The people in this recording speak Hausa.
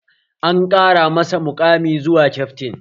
An ƙara mashi muƙami zuwa kyaftin